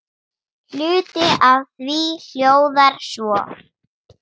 Hluti af því hljóðar svo